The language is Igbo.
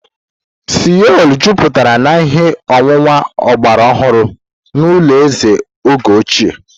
Seolu juputara na ihe owuwu ọgbara ọhụrụ na ụlọ eze oge ochie.